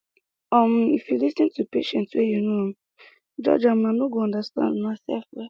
um if you lis ten to patient wey you no um judge am una go understand unasef well